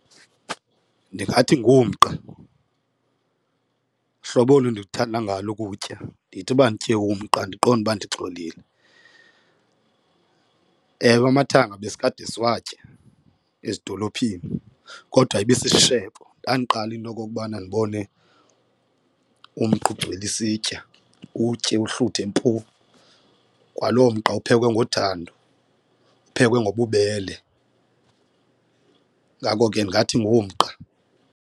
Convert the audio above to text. Ndingathi ngumqa hlobo olu ndikuthanda ngalo ukutya ndithi uba nditye umqa ndiqonde uba ndixolile. Ewe, amathanga besikade siwatya ezidolophini kodwa ibe sisishebo. Ndandiqala into okokubana ndibone umqa ugcwele isitya utye uhluthe mpu, kwaloo mqa uphekwe ngothando uphekwe ngobubele ngako ke ndingathi ngumqa.